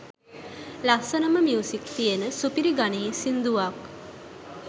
ලස්සනම music තියන සුපිරි ගණයේ සින්දුවක්